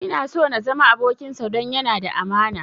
Ina so na zama abokinsa don yana da amana